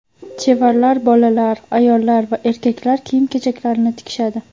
Chevarlar bolalar, ayol va erkaklar kiyim-kechaklarini tikishadi.